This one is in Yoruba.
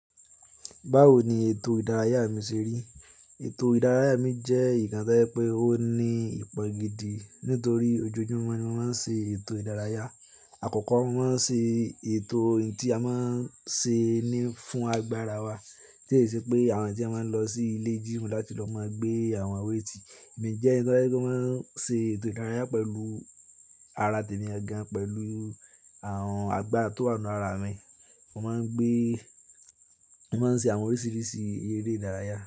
Báwo ni ètò ìdárayá mi ṣe rí? Ètò ìdárayá mi jẹ́ ìkàn t'oje pé ó ní ìpọ̀ gidi nítorí ojoojúmọ́ ni mo máa ń ṣe ètò ìdárayá. Àkọ́kọ́, mo máa ń ṣe ètò ohun tí a máa ń ṣe ní fún agbára wa. Tí e se pé àwọn tí a máa ń lọ sí ilé jimú láti lọ máa gbé àwọn weighti èmi jẹ́ ẹni tí ọ́ máa ń ṣe ètò ìdárayá pẹ̀lú ara tèmi ọ̀gán pẹ̀lú àwọn àgbà tó wà nínú ara mi. Mo máa ń gbé, mo máa ń ṣe àwọn oríṣiríṣi eré ìdárayá.